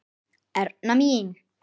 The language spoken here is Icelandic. Erna mín.